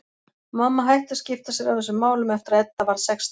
Mamma hætti að skipta sér af þessum málum eftir að Edda varð sextán.